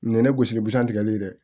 Nin ye ne gosi busan tigɛli dɛ